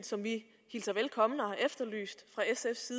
som vi hilser velkommen og har efterlyst fra sfs